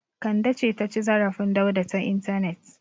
Kande ce ta ci zarafin Dauda ta intanet.